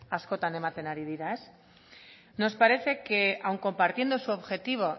askotan ematen ari dira nos parece que aun compartiendo su objetivo